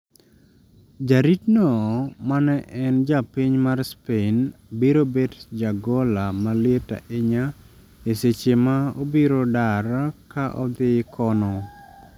Ja rit no ma en japiny mar Spain biro bet jagola maliet ahinya e seche ma obiro dar ka odhi kono